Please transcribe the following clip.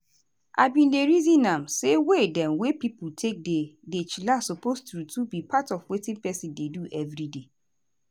i bin dey reason am say way dem wey pipo take dey dey chillax suppose true true be part of wetin peson dey do everyday.